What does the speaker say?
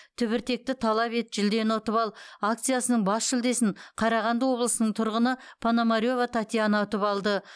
түбіртекті талап ет жүлдені ұтып ал акциясының бас жүлдесін қарағанды облысының тұрғыны пономарева татьяна ұтып алды